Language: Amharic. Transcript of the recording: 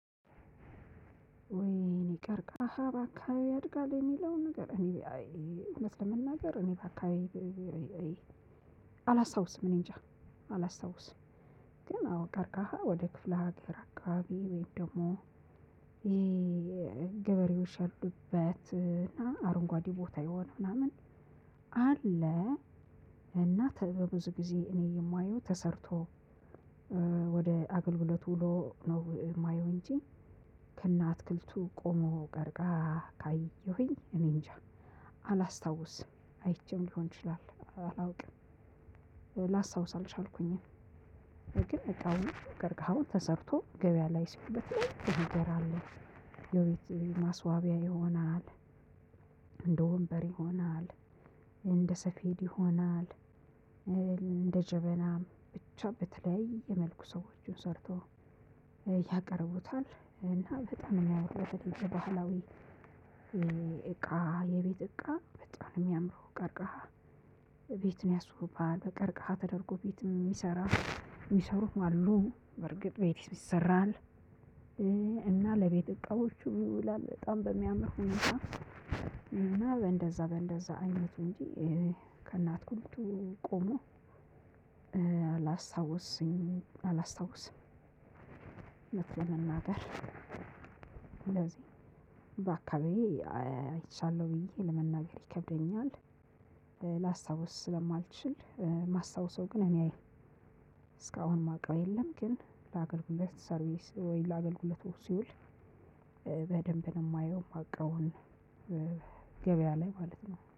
ወይ እኔ ቀርቀሃ በአካባቢ ያድጋል የሚለው ነገር እኔ አይ እውነት ለመናገር እኔ በአካባቢ። አላስታውስም እኔንጃ አላስታውስም። ግን አዎ ቀርቃሃ ወደ ክፍለ ሀገር አካባቢ ወይም ደግሞ። ይሄ። ገበሬዎች ያሉበት እና አረንጓዴ ቦታ የሆነ ምናምን አለ። እና ከዚያ ብዙ ጊዜ እኔ የማየው ተሰርቶ ወደ አገልግሎት ውሎ ነው ማየው እንጂ። ከእነአትክልቱ ቆሞ ቀርቅሃ ካየሁኝ እኔ እንጃ አላስታውስም። አይቼም ሊሆን ይችላል አላውቅም። ላስታውስ አልኩኝም። ግን እቃውን ቀርቀሀውን ተሰርቶ ገበያ ላይ እስኪውል የተለያየ ነገር የቤት ማስዋቢያ ይሆናል። እንደ ወንበር ይሆናል። እንደ ሰፊድ ይሆናል። እንደ ጀበና ብቻ በተለይ መልኩ ሰዎችን ሰርቶ ያቀርቡታል። እና በጣም የሚያወጣው በተለይ ባህላዊ። እቃ የቤት እቃ በጣም የሚያምረው ቀርቀሃ ቤትን ያስባል ከቀርቀሃ ተደርጎ ቤትም ሚሰራ የሚሰሩት አሉ በርግጥ ቤትም ይሰራል። እና ለቤት እቃዎቹ ይውላል በጣም በሚያምር ሁኔታ። በእንደዛ በእንደዛ አይነቱ እንጂ ከእነአትክልቱ ቆሞ አላስታውስም። እውነት ለመናገር ስለዚህ በአካባቢዬ አይቻለሁ ብዬ ለመናገር ይከብደኛል። ስለማልችል ማስታወሰው ግን እኔ እስካሁን ማውቀው የለም። ግን ለአገልግሎት ሰርቪስ ወይ ለአገልግሎት ወግ ሲውል በደንብ ነው ማየው ማውቀው ሁላ ገቢያ ላይ ማለት ነው